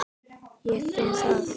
Ég finn það.